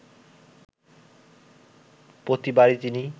প্রতিবারই তিনি